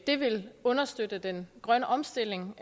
det vil understøtte den grønne omstilling